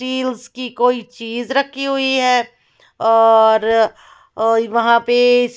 कोई चीज रखी हुई है और अ वहां पे--